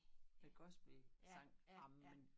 Med gospelsang ej men